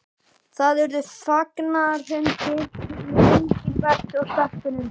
Það urðu fagnaðarfundir með Engilbert og stelpunum.